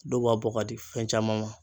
Dɔw b'a bɔ ka di fɛn caman ma